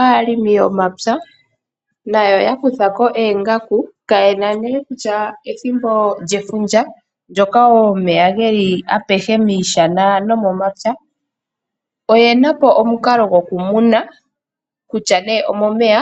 Aalongi yomapya nayo ya kuthako oongaku kaye na nee kutya ethimbo lyefundja ndyoka wo omeya geli apehe miishana nomomapya oye napo omukalo gokumuna kutya nee omomeya